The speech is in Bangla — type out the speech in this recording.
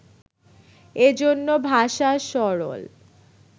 এ জন্য ভাষা সরল